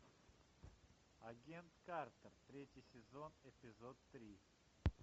агент картер третий сезон эпизод три